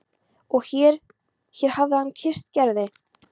Og hér hér hafði hann kysst Gerði.